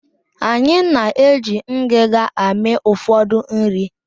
Anyị na-eji ngiga amị ụfọdụ nri